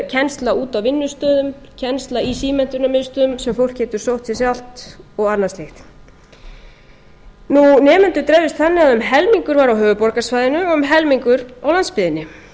kennslu úti á vinnustöðum kennslu í símenntunarmiðstöðvum sem fólk getur sótt sér sjálft og annað slíkt nemendur dreifðust þannig að um helmingur var á höfuðborgarsvæðinu og um helmingur á landsbyggðinni